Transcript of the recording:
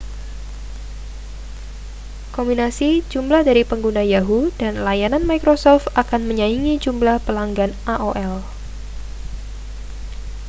kombinasi jumlah dari pengguna yahoo dan layanan microsoft akan menyaingi jumlah pelanggan aol